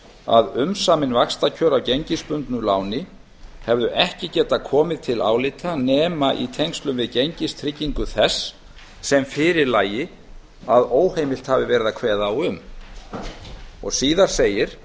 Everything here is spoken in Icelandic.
að umsamin vaxtakjör af gengisbundnu láni hefðu ekki getað komið til álita nema í tengslum við gengistryggingu þess sem fyrir lægi að óheimilt hefði verið að kveða á um síðar segir